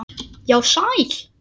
Já, sæl.